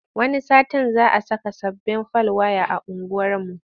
Wani satin za saka sababbin fal waya a unguwarmu.